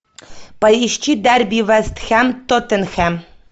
поищи дерби вест хэм тоттенхэм